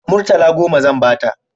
Murtala goma zan ba ta